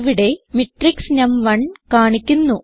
ഇവിടെ മാട്രിക്സ് നം1 കാണിക്കുന്നു